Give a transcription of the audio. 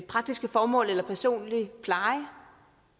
praktiske formål eller til personlig pleje